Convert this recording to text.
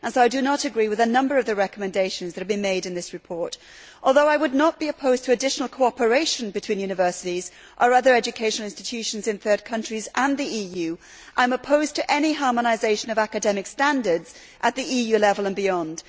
So I do not agree with a number of the recommendations that have been made in this report. Although I would not be opposed to additional cooperation between universities, or other education institutions in third countries and the EU, I am opposed to any harmonisation of academic standards at the EU level and beyond.